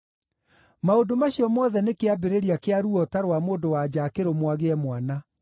Maũndũ macio mothe nĩ kĩambĩrĩria kĩa ruo ta rwa mũndũ-wa-nja akĩrũmwo agĩe mwana.